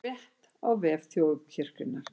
Frétt á vef Þjóðkirkjunnar